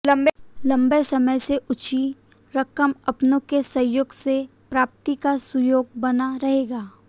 लम्बे समय से उलझी रकम अपनों के सहयोग से प्राप्ति का सुयोग बना रहेगा